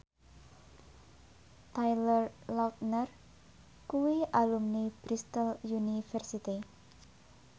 Taylor Lautner kuwi alumni Bristol university